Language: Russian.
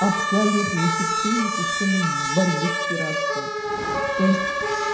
абсолютный эффективной системы борьбы с пиратством то есть